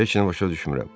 Heç nə başa düşmürəm.